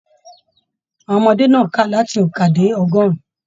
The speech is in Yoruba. Àwọn ọmọdé náà ká láti ookan dé ọgọrùn.